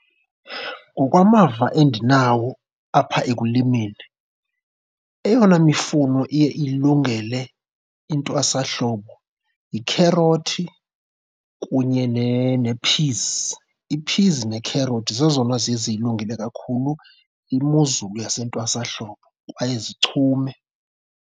Ngokwamava endinawo apha ekulimeni eyona mifuno iye ilungele intwasahlobo yikherothi kunye nee-peas. Ii-peas nekherothi zezona ziye zilungele kakhulu imozulu yasentwasahlobo kwaye zichume.